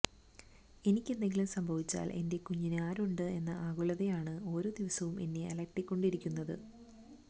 എനിക്കെന്തെങ്കിലും സംഭവിച്ചാല് എന്റെ കുഞ്ഞിന് ആരുണ്ട് എന്ന ആകുലതയാണ് ഓരോ ദിവസവും എന്നെ അലട്ടിക്കൊണ്ടിരിക്കുന്നത്